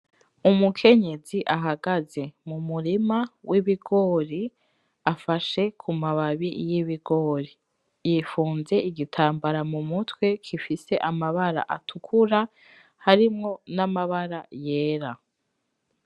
Umukenyezi ahagaze mumurima w'ibigori afashe ku mababi y'ibigori, yifunze Igitambara mumutwe gifise amabara atukura harimwo namabara yera.